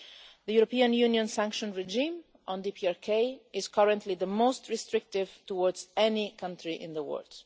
The European Union sanctions regime on the DPRK is currently the most restrictive towards any country in the world.